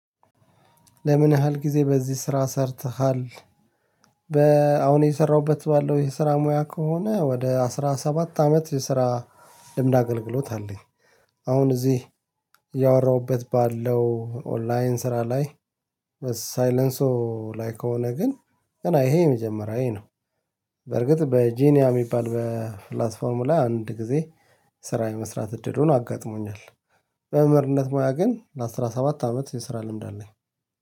ለምን ያህል ጊዜ በዚህ ስራ ሰርተሃል? በአሁን የሰራሁበት ባለው የስራ ሙያ ከሆነ ወደ አስራ ሰባት አመት የስራ ድምድ አገልግሎት አለኝ። አሁን እዚህ ባለው ኦንላይን ስራ ላይ። ሳይለንሶ ላይ ከሆነ ግን ገና ይሄ የመጀመሪያዬ ነው። በርግጥ በጂኒያ የሚባል በፕላትፎርሙ ላይ አንድ ጊዜ ስራ የመስራት እድሉን አጋጥሞኛል። በምህርነት ሙያ ግን ለአሥራ ሰባት አመት የስራ ልምድ አለኝ